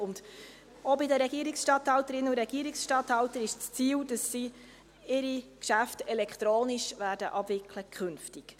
Auch bei den Regierungsstatthalterinnen und Regierungsstatthaltern ist das Ziel, dass sie ihre Geschäfte künftig elektronisch abwickeln werden.